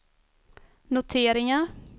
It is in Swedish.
noteringar